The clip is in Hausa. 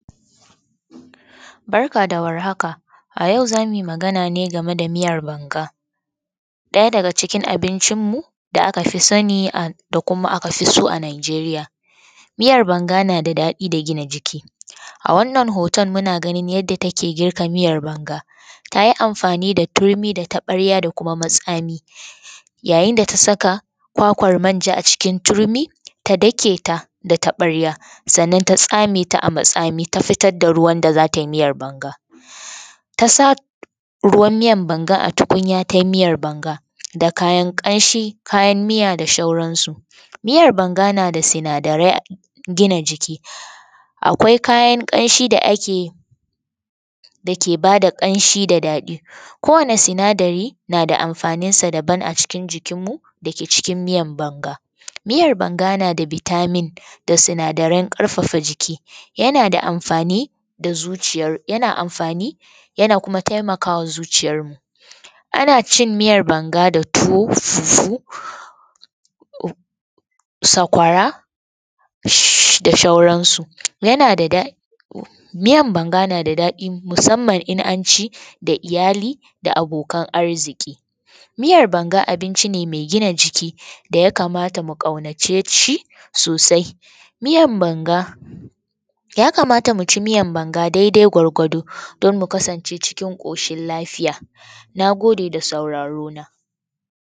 Barka da war haka, a yau za mu yi magana ne game da miyar banga. Daya daga cikin abincinmu da aka fi sani kuma aka fi so a Nijeriya. Miyar banga na da daɗi da gina jiki a wannan hoton muna ganin yadda take girka miyar banga, ta yi amfani da turmi da taɓarya da matsani, ta saka kwakwar manja a a cikin turmi ta dake ta da taɓarya sannan ta tsame ta fitar da ruwan da da za ta yi miyar banga. Ta sa ruwan miyar banga a tukunya ta yi miyar banga da kayan kamshi kayan miya da sauransu. Miyar banga na da sinadarai na gina jiki, akwai kayan kamshi da ake dake ba da kamshi da daɗi kowanne sinadari na da amfaninsa daban acikin jikinmu da miyar banga. Miyar banga na da vitamin da sinadarai na ƙarfafa jiki yana da amfani yana kuma taimakawa zuciyarmu. Ana cin miyar banga da tuwo fufu da sakwara da sauranasu .miyar banga na da daɗi musamman idan an ci da iyali da abokan arziƙi. Miyar banga abunci ne mai sinadarai saboda abinci ne mai gina jiki da ya kamata mu ƙaunace shi sosai. Miyar banga ya kamata mu ci miyar banga daidai gwargwado don mu kasance cikin koshin lafiya. Na gode da saurare na.